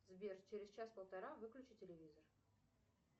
сбер через час полтора выключи телевизор